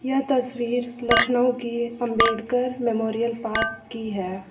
यह तस्वीर लखनऊ की अंबेडकर मेमोरियल पार्क की है।